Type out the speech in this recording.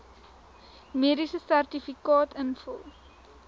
mediese sertifikaat invul